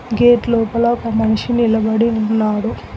Gate లోపల ఒక మనిషి నిలబడి ఉన్నాడు.